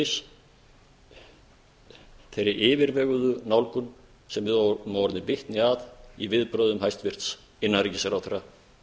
einnig þeirri yfirveguðu nálgun sem við höfum orðið vitni að í viðbrögðum hæstvirts innanríkisráðherra